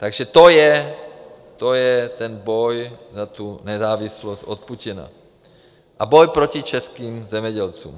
Takže to je ten boj za tu nezávislost od Putina a boj proti českým zemědělcům.